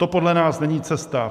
To podle nás není cesta.